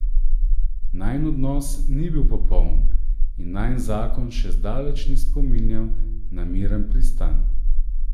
Najin odnos ni bil popoln in najin zakon še zdaleč ni spominjal na miren pristan.